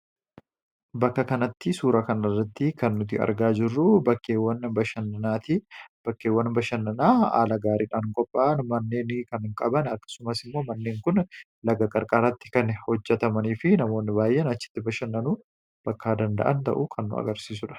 Bakka kanatti suura kan irratti kan nuti argaa jirruu bakkeewwan bashannanaati. Bakkeewwan bashannanaa haala gaariidhaan qophaa'an manneen kan qaban akkasumas immoo manneen kun laga-qarqaaratti kan hojjatamanii fi namoonni baay'en achitti bashannanuu bakka danda'an ta'u kan nu agarsiisudha.